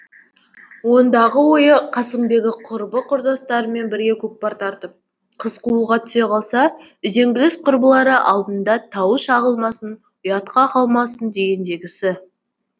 ондағы ойы қасымбегі құрбы құрдастарымен бірге көкпар тартып қыз қууға түсе қалса үзеңгілес құрбылары алдында тауы шағылмасын ұятқа қалмасын дегендегісі